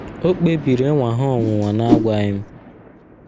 O kpebiri ịnwa ha ọnwụnwa n’agwaghị m.